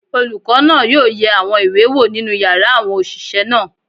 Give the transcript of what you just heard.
Olùkọ́ náà yóò yẹ àwọn ìwé wò nínú yàrá àwọn òṣìṣẹ́ náà.